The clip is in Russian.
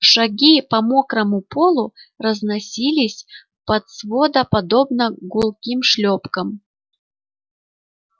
шаги по мокрому полу разносились под свода подобно гулким шлепкам